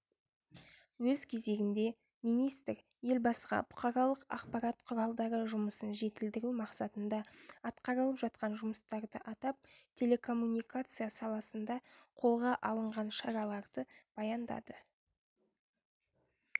өз кезегінде министр елбасыға бұқаралық ақпарат құралдары жұмысын жетілдіру мақсатында атқарылып жатқан жұмыстарды атап телекоммуникация саласында қолға алынған шараларды баяндады